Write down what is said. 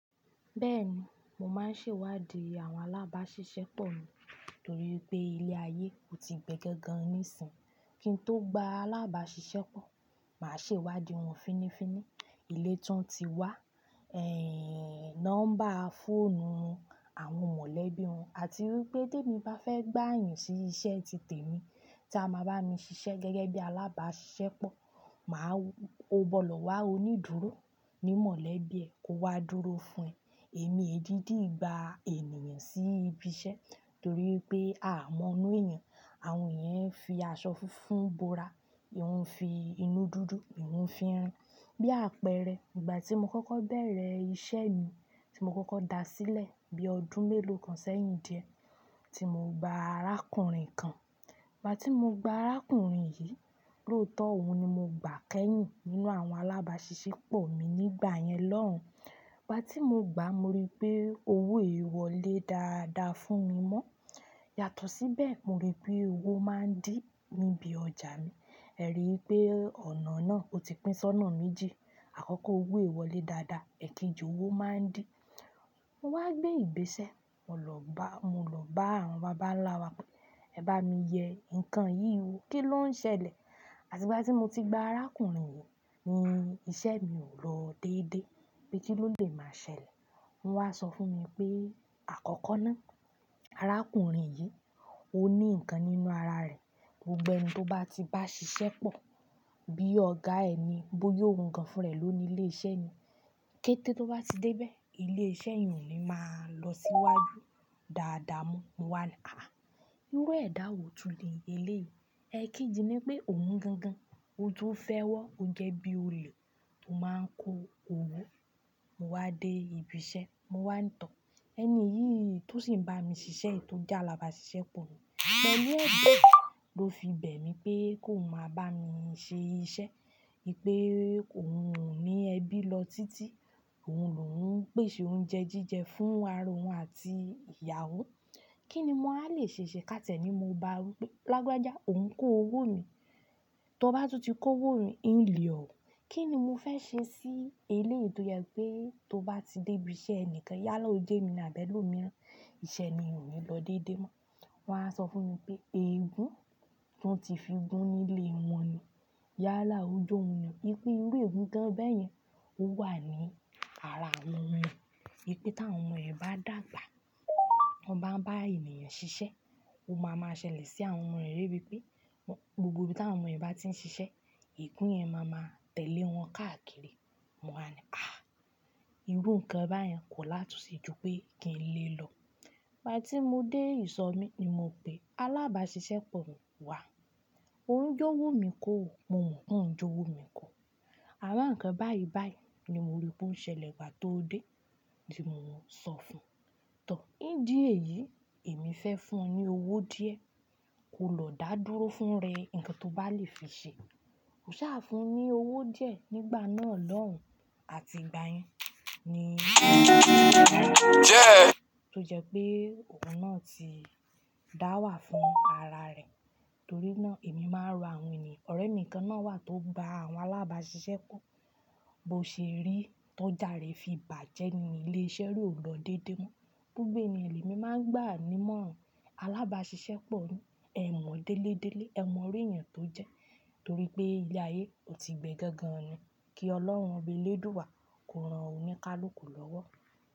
Bẹ́ẹ̀ni, mo máa ń ṣèwádìí àwọn alábàáṣiṣẹ́pọ̀ mi torí pé ilé ayé ò tí gbẹgẹ gan-an níìsín. Kí n tó gba alábàáṣiṣẹ́pọ̀, màá ṣèwádìí wọn finífini, ilé tán tí wá, ehn, nọ́mbà fóònù wọn, àwọn mọ̀lẹ́bí wọn àti wípé tèmi bá fẹ́ gbà yàn sí iṣẹ́ ti tèmi tí a máa bá mi ṣiṣẹ́ gẹ́gẹ́ bí alábàáṣiṣẹ́pọ̀, màá wo bọ̀lọ́ wa onídúró ní mọ̀lẹ́bí ẹ̀ kó wá dúró fún ẹ. Èmi èdìdì gba ènìyàn sí ibi iṣẹ́ torí wipé a mọ inú èèyàn, àwọn èèyàn ń fi aṣọ funfun bora, ìhun fi inú dúdú, ìhun fi irun. Bí àpẹẹrẹ, ìgbà tí mo kọ́kọ́ bẹ̀rẹ̀ iṣẹ́ mi tí mo kọ́kọ́ dá sílẹ̀ bí i ọdún mélòó kan sẹ́yìn di ẹ, tí mo gba arákùnrin kan. Ìgbà tí mo gba arákùnrin yìí, lóòótọ́ òun ni mo gbà kẹ́yìn nínú àwọn alábàáṣiṣẹ́pọ̀ mi nígbà yẹn lọ́hùn. Ìgbà tí mo gba, mo rí i pé owó è wọ̀lé dáadáa fún mi mọ́. Yàtọ̀ síbẹ̀, mo rí i pé owó máa ń dín níbi ọjà mi. Ẹ rí i pé ọ̀nà náà ó ti pín sọnà méjì. Àkọ́kọ́ owó è wọ̀ lé dáadáa, èkejì owó máa ń dín. Mo wá gbé ìgbésẹ́, mo lọ bá àwọn bàbá ńlá wa pé, "Ẹ bá mi yẹ nǹkan yìí wo, kí ló ń ṣẹlẹ̀?" Àti ìgbà tí mo ti gba arákùnrin yìí ni iṣẹ́ mi ò lọ déédéé, pé kí ló lè máa ṣẹlẹ̀. Wọ́n wá sọ fún mi pé àkọ́kọ́ náà, arákùnrin yìí ó ní nǹkan nínú ara rẹ̀, gbogbo ẹni tó bá ti bá ṣiṣẹ́pọ̀ bí ọ̀gá ẹni, bóyá ohun kan fún ẹ ló ni ilé iṣẹ́ ni. Kétẹ́ tó bá ti dé bẹ́ẹ̀, ilé iṣẹ́ o ni máa lọ síwájú dáadáa mọ́. Mo wá ní, "Àáà." Irú ẹ̀dá wo tuntun ni eléyìí? Ẹ keeji nipé òun gan gan, ó tún fẹ́ wọ́, ó jẹ́ bí i olè tó máa ń kó owó. Mo wá dé ibi iṣẹ́, mo wá ń tàn ẹni yìí tó sì ń bá mi ṣiṣẹ́ è tó jẹ́ alábàáṣiṣẹ́pọ̀ mi. Pẹ̀lú ẹ̀dọ̀ ló fi bẹ̀ mí pé kó máa bá mi ṣe iṣẹ́, pé òun ò ní ẹbí lọ títí, òun lò ń pèsè oúnjẹ jíjẹ fún ara òun àti ìyàwó. Kí ni mo á le ṣe ṣe ká tìẹ nii mo bá rí pé lágbaja òun ń kó owó mi. Tó bá tún ti kó owó mi, ì ń le ọ̀ o. Kí ni mo fẹ́ ṣe sí eléyìí tó yẹ pé tó bá ti dé ibi iṣẹ́ ẹnìkan, yálà ojèmi ni àbí ẹlòmíràn, iṣẹ́ ẹni yẹn ò ní lọ déédé mọ́. Wọ́n wá sọ fún mi pé, pé ìeegún tí wọ́n ti fi gún nílé wọn ni yálà ojòun ni. Wípé irú egún kan bẹ́yẹn ó wà ní ara àwọn ọmọ ẹ. Wípé ta wọn ọmọ yẹn bá dàgbà, wọ́n bá ń bá ènìyàn ṣiṣẹ́, ó máa ma ṣẹlẹ̀ sí àwọn yẹn debi pé gbogbo bí tí àwọn ọmọ yẹn bá ti ń ṣiṣẹ́, egún yẹn máa ma tẹ̀lé wọn káàkiri. Mo wá ní, "Àáà." Irú nǹkan báyẹn kò látun ṣe ju pé kí n lè lọ. Ìgbà tí mo dé ìsọ̀ mí ni mo pe alábàáṣiṣẹ́pọ̀ mi wá. Ó ń jówò mí kọ̀, mo mọ pó ń jówò mí kọ̀. Àrán kan báyìí báyìí ni mo rí pé ó ń ṣẹlẹ̀ ìgbà tó dé tí mo ń sọ fún. Tọ́, ìdí èyí èmi fẹ́ fún ọ ní owó díẹ̀, kó lọ dá dúró fún rẹ nǹkan tó bá lè fi ṣe. Mo ṣá fún ní owó díẹ̀ nígbà náà lọ́hùn àti ìgbà yẹn tó jẹ́ pé òun náà ti dá wà fún ara rẹ̀. Torí náà èmi máa ń ro àwọn ènìyàn. Ọ̀rẹ́ mi kan náà wà tó gba àwọn alábàáṣiṣẹ́pọ̀, bó ṣe rí tọ̀jà rẹ̀ fi bàjẹ́ ni ilé iṣẹ́ náà ò lọ déédé mọ́. Gbogbo ènìyàn lemi máa ń gbà á nímọ̀ràn. Alábàáṣiṣẹ́pọ̀ ni, ẹ mọ̀ délédélé, ẹ mọ orí ẹ̀yàn tó jẹ torí pé ilé ayé ò tí gbe gangan ni. Kí Ọlọ́run oba elédùwá, kó ran oníkálùkù lọ́wọ́.